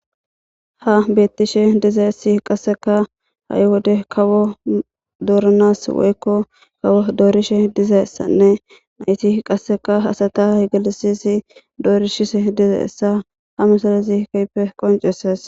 Ha beettishe diza issi qasseka ha7i wode kawo dooranas woykko kawo doorishe diza essanne nayti qasseka hasata higalisisi doorishise diza essa ha misalazikaype qonceses.